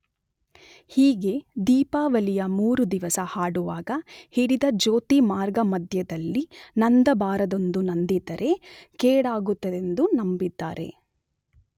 ಹೀಗೆ ದೀಪಾವಳಿಯ ಮೂರುದಿವಸ ಹಾಡುವಾಗ ಹಿಡಿದ ಜ್ಯೋತಿ ಮಾರ್ಗ ಮಧ್ಯದಲ್ಲಿ ನಂದಬಾರದೆಂದೂ ನಂದಿದರೆ ಕೇಡಾಗುತ್ತದೆಂದೂ ನಂಬಿದ್ದಾರೆ.